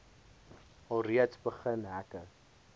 alreeds begin hekke